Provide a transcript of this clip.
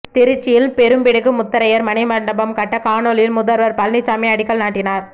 திருச்சியில் பெரும்பிடுகு முத்தரையர் மணிமண்டபம் கட்ட காணொலியில் முதல்வர் பழனிசாமி அடிக்கல் நாட்டினார்